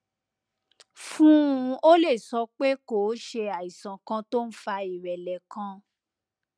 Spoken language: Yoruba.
fún un o lè sọ pé kó o ṣe àìsàn kan tó ń fa ìrẹlẹ kan